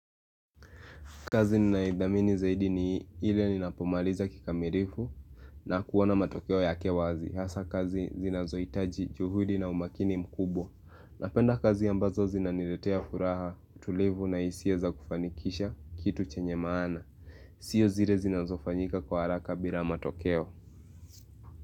Kazi ninayoidhamini zaidi ni ile ninapomaliza kikamilifu na kuona matokeo yake wazi hasa kazi zinazohitaji juhudi na umakini mkubwa napenda kazi ambazo zinaniletea furaha, utulivu na hisia za kufanikisha kitu chenye maana sio zile zinazofanyika kwa haraka bila matokeo.